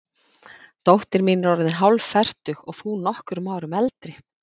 Dóttir mín er orðin hálffertug og þú nokkrum árum eldri.